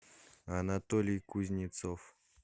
анатолий кузнецов